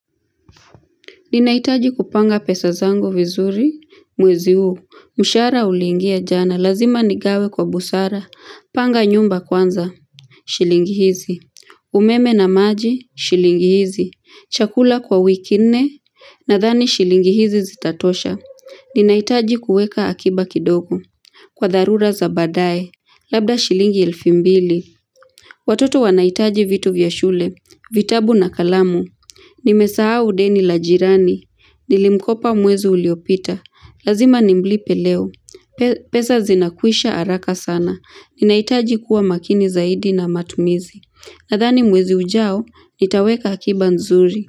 Ninahitaji kupanga pesa zangu vizuri mwezi huu. Mshahara uliingia jana, lazima nigawe kwa busara, panga nyumba kwanza, shilingi hizi, umeme na maji, shilingi hizi, chakula kwa wiki nne, nadhani shilingi hizi zitatosha. Ninahitaji kuweka akiba kidogo, kwa dharura za baadae, labda shilingi elfu mbili. Watoto wanahitaji vitu vya shule, vitabu na kalamu, nimesahau deni la jirani, nilimkopa mwezi uliopita, lazima nimlipe leo, pesa zinakwisha haraka sana. Ninahitaji kuwa makini zaidi na matumizi, nadhani mwezi ujao, nitaweka akiba nzuri.